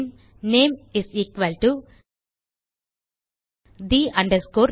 bin name is equal to the name